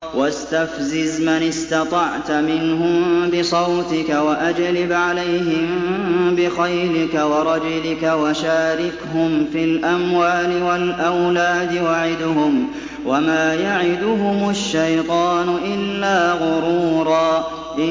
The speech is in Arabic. وَاسْتَفْزِزْ مَنِ اسْتَطَعْتَ مِنْهُم بِصَوْتِكَ وَأَجْلِبْ عَلَيْهِم بِخَيْلِكَ وَرَجِلِكَ وَشَارِكْهُمْ فِي الْأَمْوَالِ وَالْأَوْلَادِ وَعِدْهُمْ ۚ وَمَا يَعِدُهُمُ الشَّيْطَانُ إِلَّا غُرُورًا